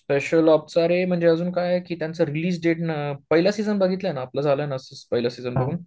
Special ops च रे म्हणजे अजून अजून काय त्यांचं रिलीज डेट ना, पहिला सीजन बघितलाय ना आपलं झालं ना पहिला सीजन बघून?